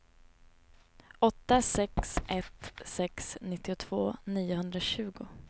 åtta sex ett sex nittiotvå niohundratjugo